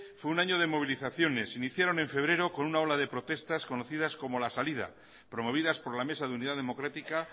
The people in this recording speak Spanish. fue un año de movilizaciones se iniciaron en febrero con una ola de protestas conocidas como la salía promovidas por la mesa de unidad democrática